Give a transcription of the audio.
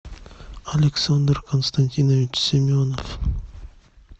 александр константинович семенов